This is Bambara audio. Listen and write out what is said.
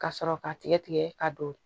Ka sɔrɔ k'a tigɛ tigɛ ka don